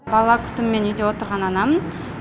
бала күтімімен үйде отырған анамын